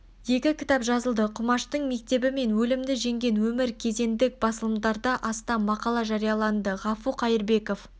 екі кітап жазылды құмаштың мектебі мен өлімді жеңген өмір кезендік басылымдарда астам мақала жарияланды ғафу қайырбеков